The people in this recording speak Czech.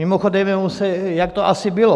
Mimochodem, jak to asi bylo?